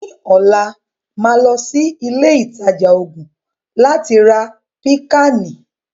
Ní ọ̀la, màá lọ sí ilé ìtajà oògùn láti ra Pìkáànì